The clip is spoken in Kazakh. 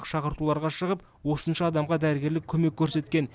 шақыртуларға шығып осынша адамға дәрігерлік көмек көрсеткен